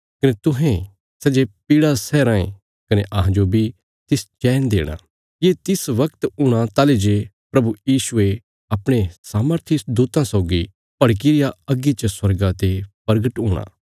कने तुहें सै जे पीड़ा सैयां राँये कने अहांजो बी तिस चैन देणा ये तिस वगत हूणा ताहली जे प्रभु यीशुये अपणे सामर्थी दूतां सौगी भड़की रिया अग्गी च स्वर्गा ते प्रगट हूणा